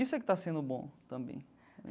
Isso é que está sendo bom também.